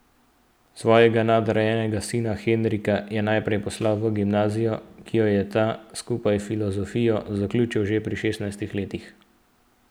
Svojega nadarjenega sina Henrika je najprej poslal v gimnazijo, ki jo je ta, skupaj s filozofijo, zaključil že pri šestnajstih letih.